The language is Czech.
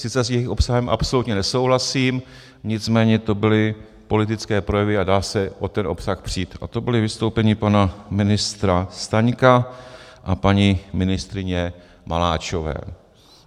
Sice s jejich obsahem absolutně nesouhlasím, nicméně to byly politické projevy a dá se o ten obsah přít, a to byla vystoupení pana ministra Staňka a paní ministryně Maláčové.